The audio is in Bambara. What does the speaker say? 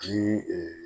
Ni